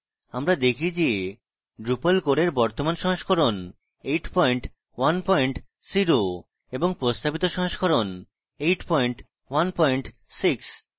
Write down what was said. আমরা দেখি যে drupal core we বর্তমান সংস্করণ 810 হয় এবং প্রস্তাবিত সংস্করণ 816